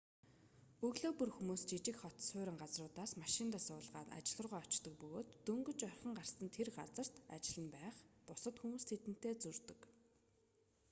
өглөө бүр хүмүүс жижиг хот суурин газруудаас машиндаа суулгаад ажил руугаа очдог бөгөөд дөнгөж орхин гарсан тэр газарт ажил нь байх бусад хүмүүс тэдэнтэй зөрдөг